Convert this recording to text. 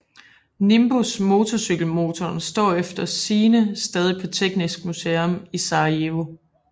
Nimbus Motorcykelmotoren står efter sigende stadig på Teknisk Museum i Sarajevo